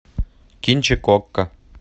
кинчик окко